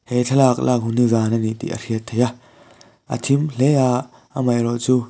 he thlalak lak hun hi zan ani tih a hriat theih a a thim hle a amaherawhchu--